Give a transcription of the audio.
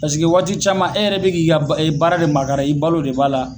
Paseke waati caman e yɛrɛ bi k'i ka baara de makara, i balo de b'a la